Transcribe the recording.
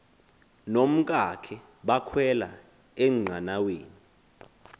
nomkakhe bakhwela enqanaweni